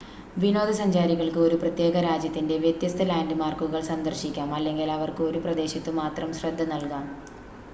വിനോദസഞ്ചാരികൾക്ക് ഒരു പ്രത്യേക രാജ്യത്തിൻ്റെ വ്യത്യസ്ത ലാൻഡ്‌മാർക്കുകൾ സന്ദർശിക്കാം അല്ലെങ്കിൽ അവർക്ക് ഒരു പ്രദേശത്ത് മാത്രം ശ്രദ്ധ നൽകാം